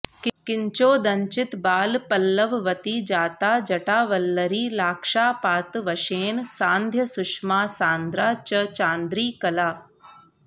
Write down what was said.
किञ्चोदञ्चितबालपल्लववती जाता जटावल्लरी लाक्षापातवशेन सान्ध्यसुषमासान्द्रा च चान्द्री कला